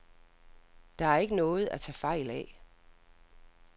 Der er ikke noget at tage fejl af.